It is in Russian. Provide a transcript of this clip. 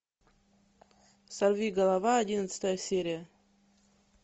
сорвиголова одиннадцатая серия